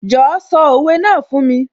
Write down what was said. Jọ̀ọ́ sọ òwe náà fún mi?